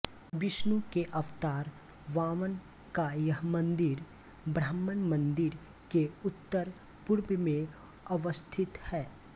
विष्णु के अवतार वामन का यह मंदिर ब्रह्मा मंदिर के उत्तर पूर्व में अवस्थित है